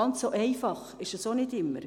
Ganz einfach ist es auch nicht immer.